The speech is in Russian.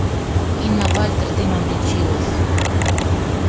инна вальтер дымом лечилась